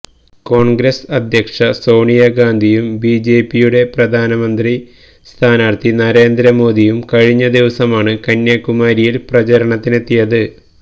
കോണ്ഗ്രസ് അധ്യക്ഷ സോണിയാഗാന്ധിയും B J പിയുടെ പ്രധാനമന്ത്രി സ്ഥാനാര്ഥി നരേന്ദ്ര മോദിയും കഴിഞ്ഞ ദിവസമാണ് കന്യാകുമാരിയില് പ്രചാരണത്തിനെത്തിയത്